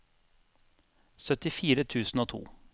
syttifire tusen og to